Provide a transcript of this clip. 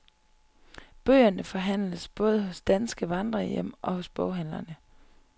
Bøgerne forhandles både på danske vandrerhjem og hos boghandlerne.